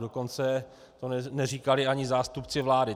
Dokonce to neříkali ani zástupci vlády.